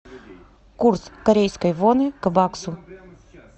курс корейской воны к баксу